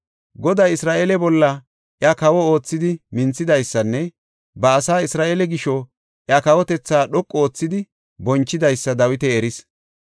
Goday Isra7eele bolla iya kawo oothidi minthidaysanne ba asaa Isra7eele gisho iya kawotethaa dhoqu oothidi bonchidaysa Dawiti eris.